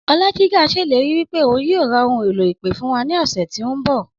Ọlájigà ṣèlérí wípé ohun yíò ra ohun èlò ìpè fún wa ní ọ̀sẹ̀ tí o nbọ